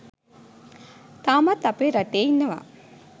තාමත් අපේ රටේ ඉන්නවා